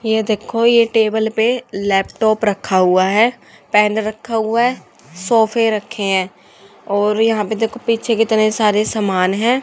ये देखो ये टेबल पे लैपटॉप रखा हुआ है पेन रखा हुआ है सोफे रखे हैं और यहां पे देखो पीछे कितने सारे सामान हैं।